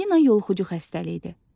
Anqina yoluxucu xəstəlikdir.